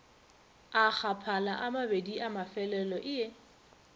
a gaphala amabedi amafelelo ie